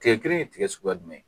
Tigɛ kelen ye tigɛ suguya jumɛn ye